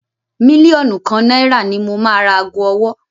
Mílíọ̀nù kan nàìrà ni mo máa ra ago ọwọ́